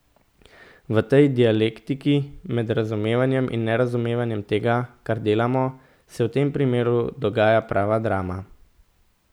V tej dialektiki med razumevanjem in nerazumevanjem tega, kar delamo, se v tem primeru dogaja prava drama.